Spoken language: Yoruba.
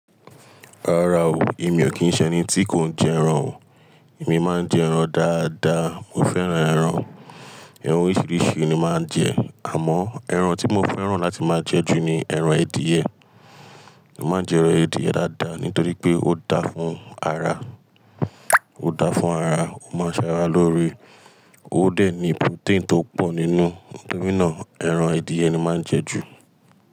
Rárá o, èmi ò kí ń ṣẹ eni tí kò ń jẹ ẹran o. Èmi máa ń jẹ ẹran dáadáa, mo fẹ́ràn ẹran. Ẹran oríṣiríṣi ni máa ń jẹ, àmọ́ ẹran tí mo fẹ́ràn láti máa jẹ jù ni ẹran edìẹ. Mo máa ń jẹ ẹran edìẹ dáadáa nítorí pé o dáa fún ara, o dáa fún ara, ó máa ń ṣara lóore, ó dẹ̀ ní protein tó pọ̀ nínú, nítorínà ẹran edìẹ ni màá ń jẹ jù.